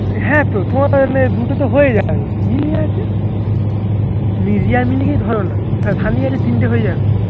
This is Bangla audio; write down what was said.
তোমার তো ওখানে দুটো তো হয়ে যাবে মিলি আছে তুমি রিয়া মিলিকেই ধরো না আর সানিয়া এলে তিনটে হয়ে যাবে